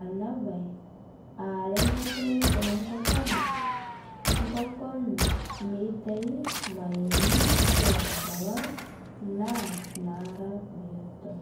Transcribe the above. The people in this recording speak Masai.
ana bai aa remotoo enkokon, nkokon meitai mayeeni kila nkolong' naa naraa biotoo.